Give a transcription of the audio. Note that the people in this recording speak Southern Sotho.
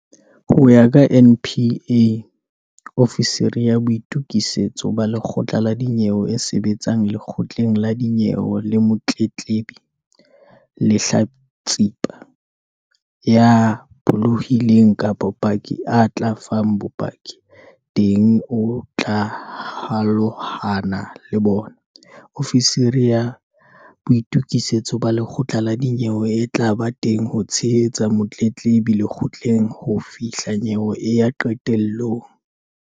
Ho ya ka NPA, ofisiri ya boitu-kisetso ba lekgotla la dinyewe e sebetsang lekgotleng la dinyewe le motletlebi, lehlatsipa, ya pholohileng kapa paki a tla fang bopaki teng o tla holahana le bona. Ofisiri ya boitokisetso ba lekgotla la dinyewe e tla ba teng ho tshehetsa motletlebi lekgotleng ho fihla nyewe e ya qetelong.